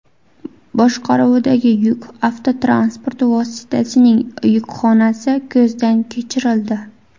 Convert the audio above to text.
boshqaruvidagi yuk avtotransport vositasining yukxonasi ko‘zdan kechirildi.